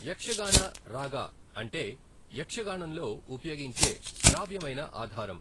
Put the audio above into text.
యక్షగాన రాగ అంటే యక్షగానంలో ఉపయోగించే శ్రావ్యమైన ఆధారం.